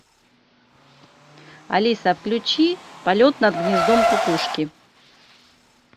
алиса включи полет над гнездом кукушки